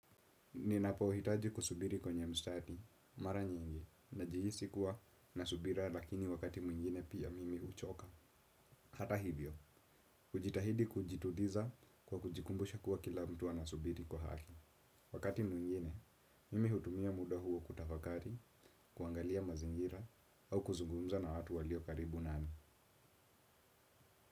Ninapohitaji kusubiri kwenye mstadi, mara nyingi, najihisi kuwa na subira lakini wakati mwingine pia mimi huchoka. Hata hivyo, kujitahidi kujitudiza kwa kujikumbusha kuwa kila mtu anasubiri kwa haki. Wakati mwingine, mimi hutumia muda huo kutafakari, kuangalia mazingira, au kuzugumza na watu walio karibu nami.